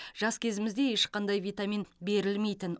жас кезімізде ешқандай витамин берілмейтін